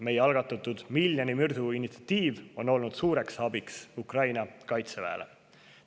Meie algatatud miljoni mürsu initsiatiiv on olnud suureks abiks Ukraina kaitseväele.